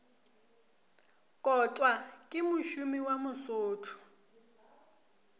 kotwa ke mošomi wa mosotho